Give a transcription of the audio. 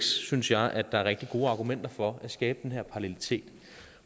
synes jeg at der er rigtig gode argumenter for at skabe den her parallelitet